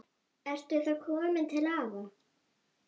Ertu þá kominn til afa?